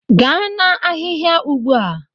Gaa na-ahịhịa ugbo!